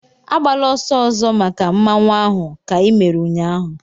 Agbala ọsọ ọzọ make Mmanwu ahụ ka i mere ụnyaahụ!